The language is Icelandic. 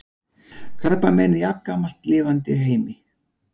Krabbamein er jafngamalt lifandi heimi.